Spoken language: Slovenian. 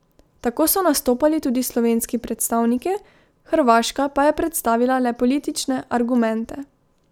Tako so nastopali tudi slovenski predstavniki, hrvaška pa je predstavila le politične argumente.